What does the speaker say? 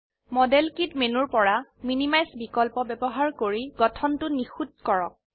model kit মেনুৰ পৰা minimise বিকল্প ব্যবহাৰ কৰি গঠনটো নিখুত কৰক